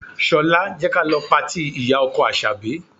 Ṣọlá, jẹ́ ka lọ patí ìyá-ọkọ Àṣàbí.